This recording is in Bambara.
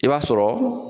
I b'a sɔrɔ